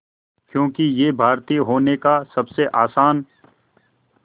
क्योंकि ये भारतीय होने का सबसे आसान